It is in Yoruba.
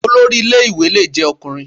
Olórí ilé ìwé lè jẹ́ Ọkùnrin